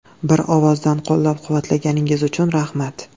Bir ovozdan qo‘llab-quvvatlaganingiz uchun rahmat.